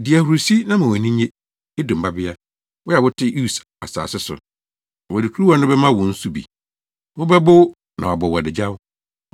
Di ahurusi na ma wʼani nnye, Edom Babea, wo a wote Us asase so. Wɔde kuruwa no bɛma wo nso bi; wobɛbow na wɔabɔ wo adagyaw.